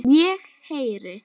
Ég heyri.